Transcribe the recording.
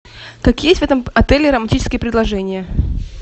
какие есть в этом отеле романтические предложения